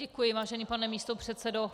Děkuji, vážený pane místopředsedo.